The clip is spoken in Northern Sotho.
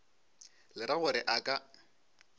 le ra gore a ka